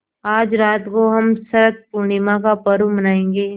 आज रात को हम शरत पूर्णिमा का पर्व मनाएँगे